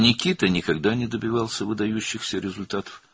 Nikita heç vaxt görkəmli nəticələr əldə etməmişdi.